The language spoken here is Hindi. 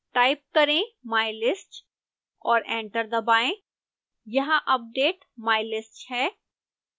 टाइप करें mylist और एंटर दबाएं यहाँ अपडेट mylist है